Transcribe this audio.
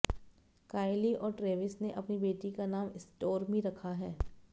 काइली और ट्रैविस ने अपनी बेटी का नाम स्टोर्मी रखा है